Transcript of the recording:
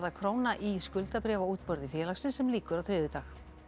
króna í skuldabréfaútboði félagsins sem lýkur á þriðjudag